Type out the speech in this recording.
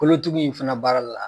Kolotugu in fana baara la